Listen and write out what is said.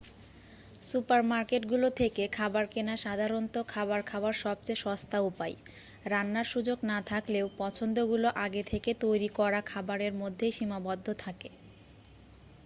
সুপারমার্কেটগুলো থেকে খাবার কেনা সাধারণত খাবার খাওয়ার সবচেয়ে সস্তা উপায় রান্নার সুযোগ না থাকলেও পছন্দগুলো আগে থেকে তৈরি করা খাবারের মধ্যেই সীমাবদ্ধ থাকে